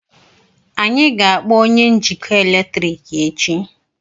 anyị ga-akpọ onye njikọ eletrik echi